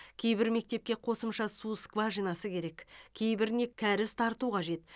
кейбір мектепке қосымша су скважинасы керек кейбіріне кәріз тарту қажет